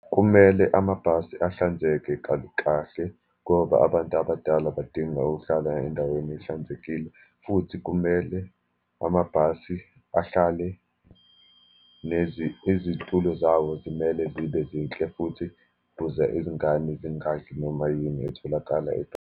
Kumele amabhasi ahlanzeke kahle ngoba abantu abadala badinga ukuhlala endaweni ehlanzekile, futhi kumele amabhasi ahlale izitulo zawo zimele zibe zinhle, futhi kuze izingane zingadli noma yini etholakala .